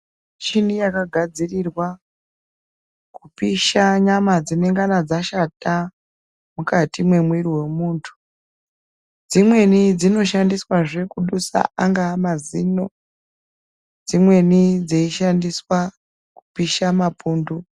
Michini yakagadzirirwa kupishà nyama dzinenga dzashata mukati memwiri wemuntu dzimweni dzinoshandiswa kudusa anga mazino dzimweni dzeishandiswa kupisha mapuntu.